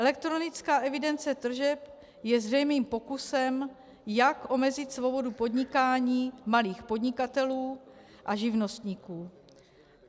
Elektronická evidence tržeb je zřejmým pokusem, jak omezit svobodu podnikání malých podnikatelů a živnostníků.